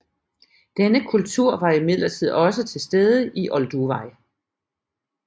Denne kultur var imidlertid også til stede i Olduvai